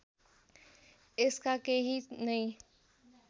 यसका केही नै